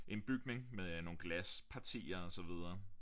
En bygning med nogle glaspartier og så videre